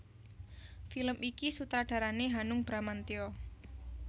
Film iki sutradarané Hanung Bramantyo